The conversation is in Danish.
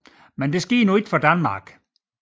Dette skete dog ikke i Danmark